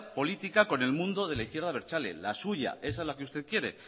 política con el mundo de la izquierda abertzale la suya esa es la que usted quiere